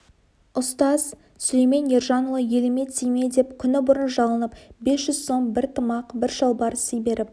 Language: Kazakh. ұстаз сүлеймен ержанұлы еліме тиме деп күні бұрын жалынып бес жүз сом бір тымақ бір шалбар сый беріп